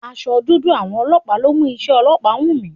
Aṣọ dúdú àwọn ọlọ́pàá ló mú iṣé ọlọ́pàá wù mí.